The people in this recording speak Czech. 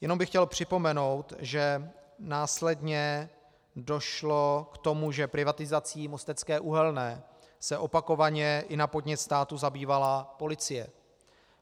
Jenom bych chtěl připomenout, že následně došlo k tomu, že privatizací Mostecké uhelné se opakovaně i na podnět státu zabývala policie.